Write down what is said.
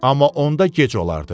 Amma onda gec olardı.